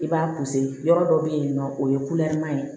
I b'a yɔrɔ dɔ bɛ yen nɔ o ye ye